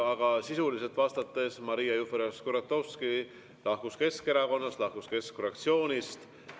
Aga sisuliselt vastates: Maria Jufereva-Skuratovski lahkus Keskerakonnast ja lahkus keskfraktsioonist.